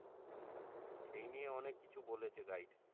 সেই নিয়ে অনেক কিছু বলেছে guide